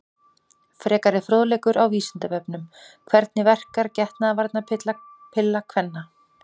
Frekari fróðleikur á Vísindavefnum: Hvernig verkar getnaðarvarnarpilla kvenna?